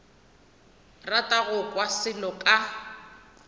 rata go kwa selo ka